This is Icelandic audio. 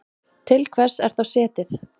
Til hvers er þá setið?